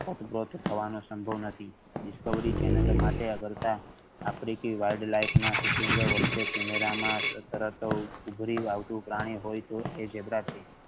સંભવ નથી discovery channel માટે કરતા africanshooting વખતે camera માં આવતું પ્રાણી હોય તો એ ઝીબ્રા છે.